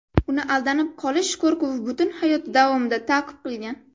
Uni aldanib qolish qo‘rquvi butun hayoti davomida ta’qib qilgan.